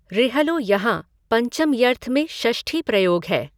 ऋहलो यहाँ पञ्चम्यर्थ में षष्ठी प्रयोग है।